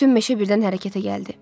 Bütün meşə birdən hərəkətə gəldi.